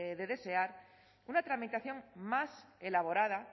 de desear una tramitación más elaborada